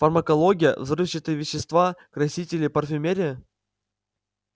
фармакология взрывчатые вещества красители парфюмерия